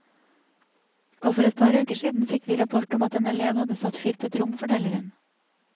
Og for et par uker siden fikk vi rapport om at en elev hadde satt fyr på et rom, forteller hun.